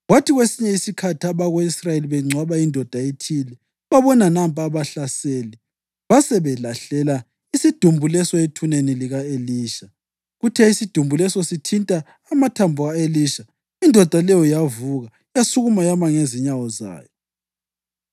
Kwathi kwesinye isikhathi abako-Israyeli bengcwaba indoda ethile, babona nampa abahlaseli; basebelahlela isidumbu leso ethuneni lika-Elisha. Kuthe isidumbu leso sithinta amathambo ka-Elisha, indoda leyo yavuka yasukuma yama ngezinyawo zayo.